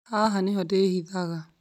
Haha nĩho ndihithaga